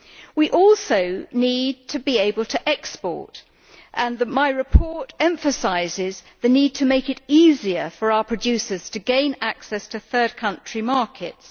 We must also be able to export, and my report emphasises the need to make it easier for our producers to gain access to third country markets.